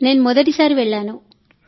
నేను మొదటిసారి వెళ్ళాను